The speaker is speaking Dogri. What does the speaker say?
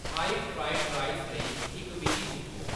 थाई फ्राइड राईस लेई इक विधि तुप्पो